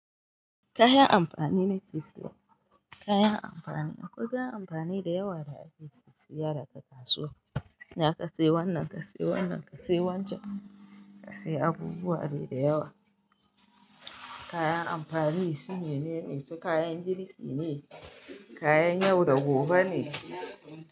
Kayan amtani nake saya, kayan amfani. Akwai kayan amfani da yawa da ake sisiya daga kasuwa. Za ka sayi wannan, ka sayi wannan, ka sayi wancan, ka sayi abubuwa dai da yawa. Kayan amfani sune, me nene? Su kayan girki ne, kayan yau da gobe ne.